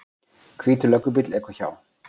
Hvítur löggubíll ekur hjá.